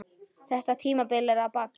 Þetta tímabil er að baki.